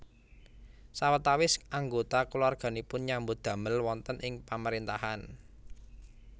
Sawetawis anggota keluarganipun nyambut damel wonten ing pamaréntahan